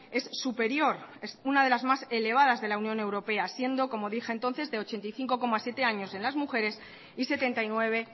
es superior es una de las más elevadas de la unión europea siendo como dije entonces de ochenta y cinco coma siete años en las mujeres y setenta y nueve